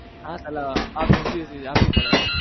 આ સલા આપવી પડે